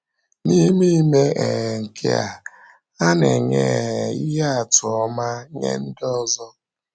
N’ime ime um nke a, ha na-enye um ihe atụ ọma nye ndị ọzọ.